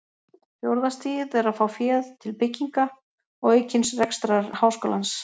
Fjórða stigið er að fá féð til bygginga og aukins rekstrar háskólans.